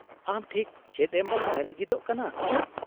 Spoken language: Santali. -ᱟᱢ ᱴᱷᱤᱠ ᱪᱮᱫ ᱮᱢ ᱵᱟᱰᱟᱭ ᱞᱟᱹᱜᱤᱫᱚᱜ ᱠᱟᱱᱟ ?